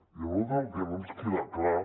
i a nosaltres el que no ens queda clar